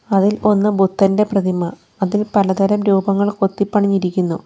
അതിൽ ഒന്ന് ബുദ്ധൻ്റെ പ്രതിമ അതിൽ പല തരം രൂപങ്ങൾ കൊത്തി പണിഞ്ഞിരികുന്നു.